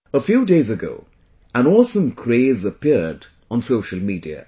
A few days ago an awesome craze appeared on social media